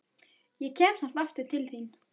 Ég kem samt aftur til þín.